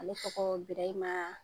Ale tɔgɔ Birahima